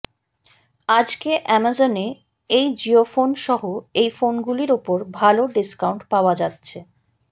আজকে অ্যামাজনে এই জিওফোন সহ এই ফোন গুলির ওপর ভাল ডিস্কাউন্ট পাওয়া যাচ্ছে